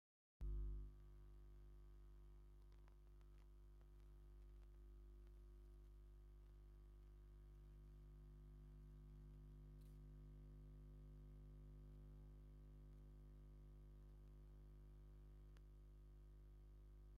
እዚኦም ኣዝዮም ጽቡቓትን ድሙቓትን ሰማያዊ ጽፍሪ እዮም! እቲ ጽፍሪ ብናይ ሳንዱቕ ሬሳ ወይ ርብዒ ቅርጺ ይስራሕ። ኣዝዩ ጽሩይን ዓይኒ ዝማርኽን ማንኪዩር እዩ።